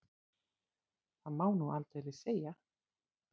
Það má nú aldeilis segja.